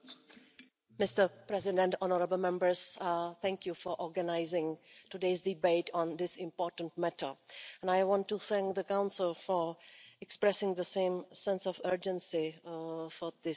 Mr President, honourable Members, thank you for organising today's debate on this important matter and I want to thank the Council for expressing the same sense of urgency on this issue.